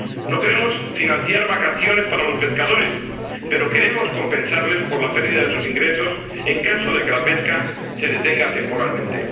No queremos financiar vacaciones para los pescadores, pero queremos compensarles por la pérdida de sus ingresos en caso de que la pesca se detenga temporalmente.